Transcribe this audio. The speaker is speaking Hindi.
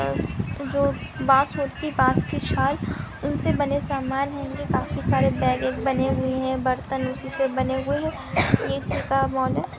उनसे बने हुए है बर्तन उसी से हुए है ये इसी का मॉल है।